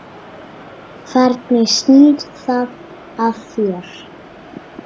Hvernig snýr það að þér?